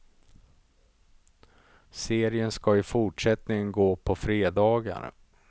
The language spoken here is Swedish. Serien ska i fortsättningen gå på fredagar.